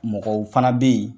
Mɔgɔw fana bɛ yen